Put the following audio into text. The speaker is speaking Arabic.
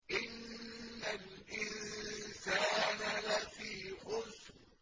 إِنَّ الْإِنسَانَ لَفِي خُسْرٍ